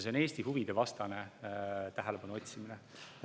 See on Eesti huvide vastane tähelepanu otsimine.